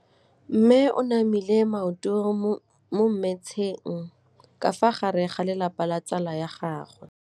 Mme o namile maoto mo mmetseng ka fa gare ga lelapa le ditsala tsa gagwe.